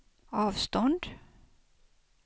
avstånd